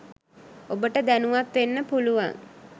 ඔබට දැනුවත් වෙන්න පුළුවන්.